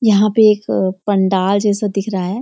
यहाँ पे एक पंडाल जैसा दिख रहा है।